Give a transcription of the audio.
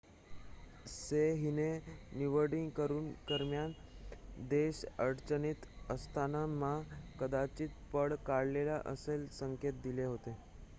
सेह हिने निवडणुकीदरम्यान देश अडचणीत असताना मा कदाचित पळ काढेल असे संकेत दिले होते